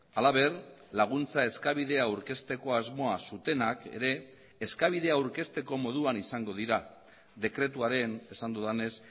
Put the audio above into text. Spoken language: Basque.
halaber laguntza eskabidea aurkezteko asmoa zutenak ere eskabidea aurkezteko moduan izango dira dekretuaren esan dudanez